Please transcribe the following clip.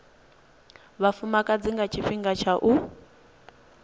vhafumakadzi nga tshifhinga tsha u